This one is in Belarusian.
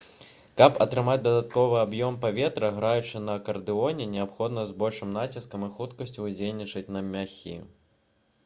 каб атрымаць дадатковы аб'ём паветра граючы на акардэоне неабходна з большым націскам і хуткасцю ўздзейнічаць на мяхі